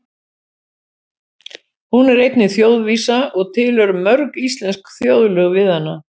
Hún er einnig þjóðvísa og til eru mörg íslensk þjóðlög við hana.